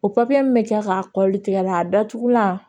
O min bɛ kɛ k'a kɔli tigɛ la a datugulan